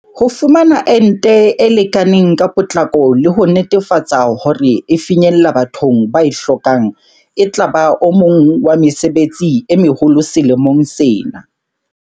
Ho fumana ente e lekaneng ka potlako le ho netefatsa hore e finyella bathong ba e hlokang etlaba o mong wa mesebetsi e meholo selemong sena.